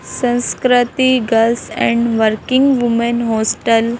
संस्कृति girls and working woman hostel --